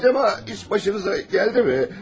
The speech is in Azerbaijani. Acaba iş başınıza gəldi mi?